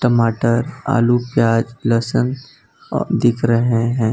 मटर आलू प्याज लहसुन दिख रहे हैं।